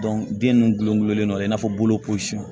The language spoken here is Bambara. den nun gulongulon dɔ in n'a fɔ bolo